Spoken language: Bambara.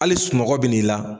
Hali sunɔgɔ bɛ n'i la.